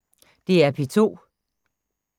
DR P2